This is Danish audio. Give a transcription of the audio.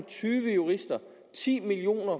tyve jurister og ti millioner